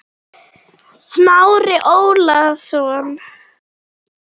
Smári Ólason.